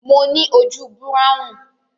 mọ ní ojú Búráhùn